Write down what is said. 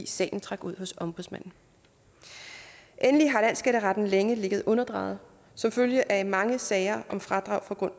sagen trækker ud hos ombudsmanden endelig har landsskatteretten længe ligget underdrejet som følge af mange sager om fradrag